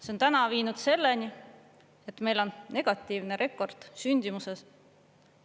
See on täna viinud selleni, et meil on negatiivne rekord sündimuses.